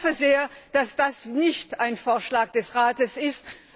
Ich hoffe sehr, dass das nicht ein Vorschlag des Rates ist.